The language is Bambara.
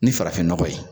Ni farafinnɔgɔ ye